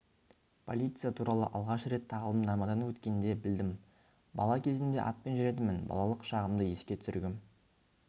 полиция туралы алғаш рет тағылымдамадан өткенде білдім бала кезімде атпен жүретінмін балалық шағымды еске түсіргім